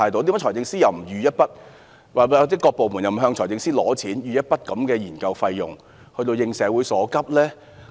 為何財政司司長又不預留一筆款項，或各部門又不向財政司司長申請一筆研究費用以應社會所急？